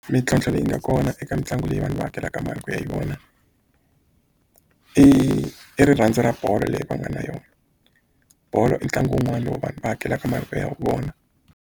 Mintlhontlho leyi nga kona eka mitlangu leyi vanhu va hakelaka mali ku ya hi vona i i rirhandzu ra bolo leyi va nga na yona bolo i ntlangu wun'wana lowu vanhu va hakelaka mali ku ya vona.